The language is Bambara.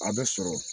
A bɛ sɔrɔ